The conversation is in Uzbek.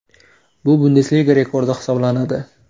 Bu Bundesliga rekordi hisoblanadi.